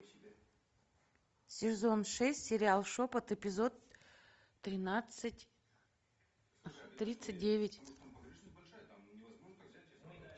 сезон шесть сериал шепот эпизод тринадцать тридцать девять